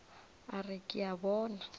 a re ke a bona